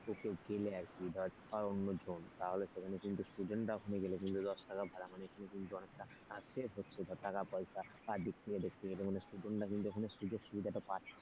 কোথায় গেলে আরকি ধর অন্যজন তাহলে সেখানে কিন্তু student রা ওখানে গেলে কিন্তু দশ টাকা ভাড়া মানে অনেকটা save হচ্ছে ধর টাকা পয়সা দিক থেকে দেখতে গেলে মানে student রা কিন্তু ওখানে সুযোগ সুবিধা টা পাচ্ছে।